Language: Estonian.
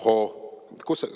Hohoo!